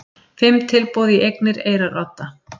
Fimm tilboð í eignir Eyrarodda